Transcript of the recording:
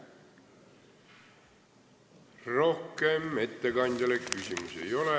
Rohkem ettekandjale küsimusi ei ole.